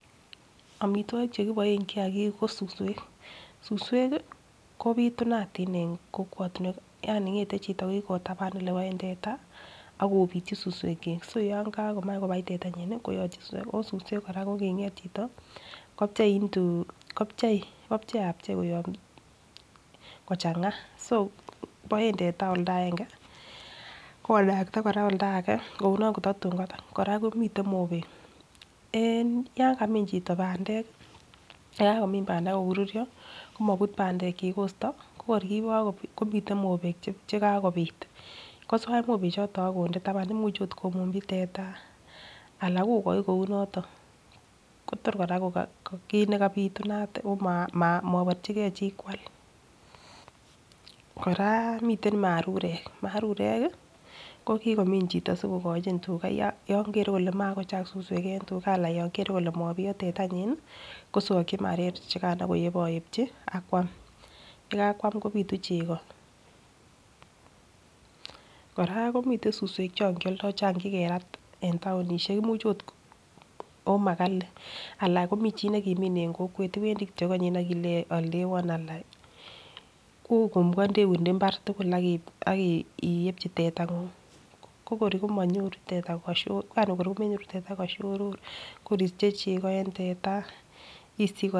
Omitwokik chekiboen kiyagik ko suswek, suswek kii kopitunatin en kokwet yani ngete chito kokikotaban ole boen teta akopityi suswek chik, so yon kakomach kobai tetanyin nii koyotyin suswek osuswek Koraa kokinget chito kipchei into kopchei ko pchei apchei koyob kochanga so boen temteta oldaenge komakat Koraa oldage kounon kotatun kotar. Koraa komiten mobek en yon kamin chito pandek , yekakomin pandek ak koruryo komonut pandek kosto ko kor Kiko komiten mobek chekakobit koswach mobek choton akonde taban imuche ot komunchi teta anan kokoi kou noton, Kotor Koraa ko kit nekapitunat